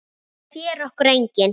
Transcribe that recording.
Það sér okkur enginn.